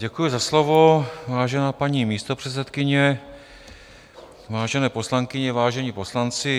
Děkuji za slovo, vážená paní místopředsedkyně, vážené poslankyně, vážení poslanci.